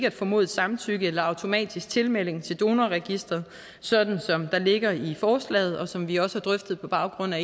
at formodet samtykke eller automatisk tilmelding til donorregistret sådan som det ligger i forslaget og som vi også har drøftet på baggrund af